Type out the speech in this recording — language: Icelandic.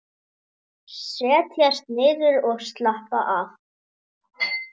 Setjast niður og slappa af.